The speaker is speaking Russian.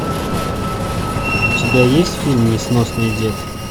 у тебя есть фильм несносный дед